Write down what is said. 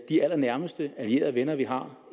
de allernærmeste allierede og venner vi har